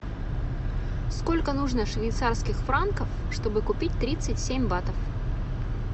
сколько нужно швейцарских франков чтобы купить тридцать семь батов